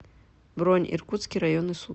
бронь иркутский районный суд